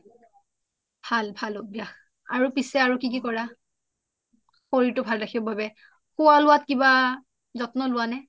ভাল ভাল অভ্যাস শৰীৰটো ভাল ৰাখিব বাবে খোৱা লোৱাত কিবা যত্ন লোৱা নে